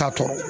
Taa tɔ